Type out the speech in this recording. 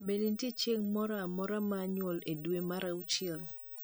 bende nitie chieng moro amora mar nyuol e dwe mar auchiel